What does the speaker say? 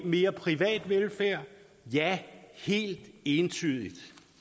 mere privat velfærd ja helt entydigt